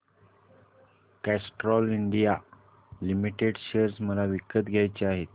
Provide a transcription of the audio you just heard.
Castrol India Limited share मला विकत घ्यायचे आहेत